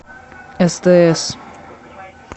стс